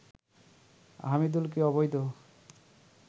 হামিদুলকে অবৈধ